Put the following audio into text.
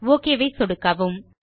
okay ஐ சொடுக்கவும்